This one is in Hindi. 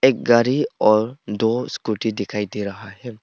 एक गाड़ी और दो स्कूटी दिखाई दे रहा है।